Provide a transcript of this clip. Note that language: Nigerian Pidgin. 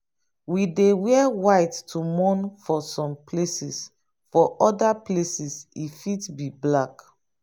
we dey wear white to mourn for some places for oda places e fit be black